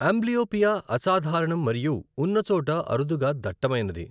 Amblyopia అసాధారణం మరియు ఉన్న చోట అరుదుగా దట్టమైనది.